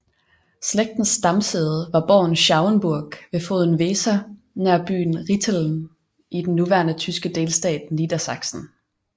Slægtens stamsæde var borgen Schauenburg ved floden Weser nær byen Rinteln i den nuværende tyske delstat Niedersachsen